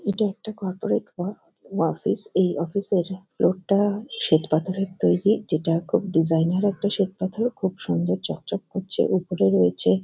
এটা একটা corporate work office এই অফিস -এর ফ্লোর -টা শ্বেতপাথরের তৈরী যেটা খুব ডিজাইন -এর একটা শ্বেতপাথর খুব সুন্দর চক চক করছে উপরে রয়েছে।